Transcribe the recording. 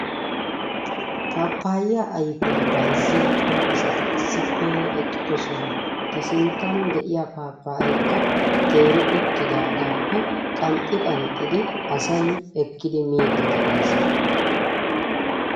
Pappayiya ayfiya bayzziya cora asati issippe eqqiddossona. Ta sinttan de'iya pappayeekka teeri uttidaagaappe qanxxi qanxxidi asay ekkidi miidi de'ees.